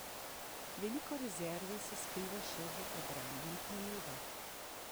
Veliko rezerve se skriva še v obrambnih nalogah.